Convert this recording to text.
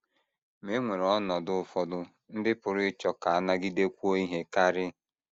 Ma e nwere ọnọdụ ụfọdụ ndị pụrụ ịchọ ka a nagidekwuo ihe karị.